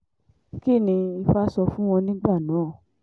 kín ni ifá sọ fún wọn nígbà náà